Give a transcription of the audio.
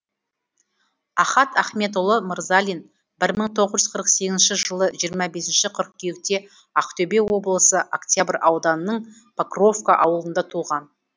ахат ахметұлы мырзалин бір мың тоғыз жүз қырық сегізінші жылы жиырма бес қыркүйекте ақтөбе облысы октябрь ауданының покровка ауылында туған